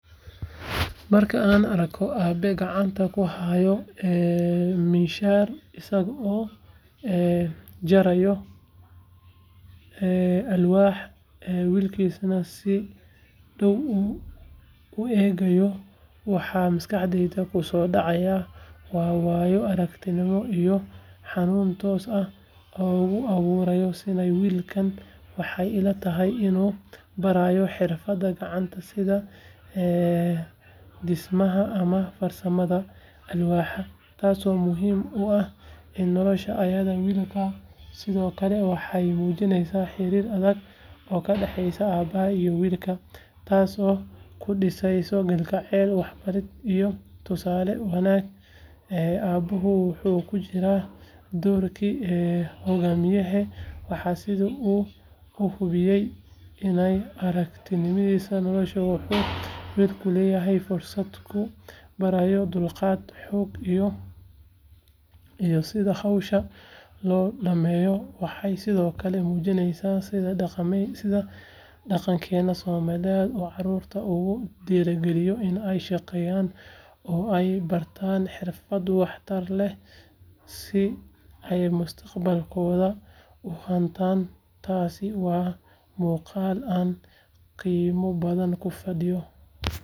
Marka aan arko aabe gacanta ku haya miinshaar isagoo jaraya alwaax wiilkiisuna si dhow u eegayo waxa maskaxdayda ku soo dhacaya waa waayo aragnimo iyo hanuunin toos ah oo uu aabuhu siinayo wiilkiisa waxay ila tahay inuu barayo xirfadda gacanta sida dhismaha ama farsamada alwaaxda taasoo muhiim u ah nolosha aayaha wiilka sidoo kale waxay muujinaysaa xiriir adag oo ka dhaxeeya aabaha iyo wiilka taasoo ku dhisan kalgacayl waxbarid iyo tusaale wanaag aabuhu wuxuu ku jiraa doorkii hogaamiye waana sida uu u gudbinayo waayo aragnimadiisa nolosha wuxuuna wiilku leeyahay fursad uu ku baranayo dulqaad xoog iyo sida hawsha loo dhameeyo waxay sidoo kale muujinaysaa sida dhaqankeena Soomaaliyeed uu carruurta ugu dhiirrigeliyo in ay shaqeeyaan oo ay bartaan xirfado wax tar leh si ay mustaqbalkooda u hantaan taasi waa muuqaal aan qiimo badan ku fadhiyo.